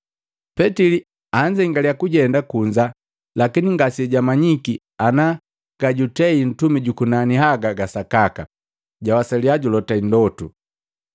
Petili anzengalya kujenda kunza lakini ngase jwamanyiki ana gajutei Ntumi jukunani haga gasakaka, jwawasalya julota ndotu.